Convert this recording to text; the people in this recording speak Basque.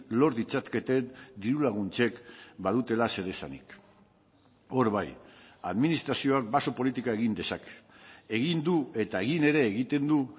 lor ditzaketen diru laguntzek badutela zer esanik hor bai administrazioak baso politika egin dezake egin du eta egin ere egiten du